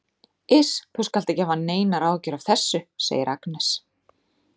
Iss, þú skalt ekki hafa neinar áhyggjur af þessu, segir Agnes.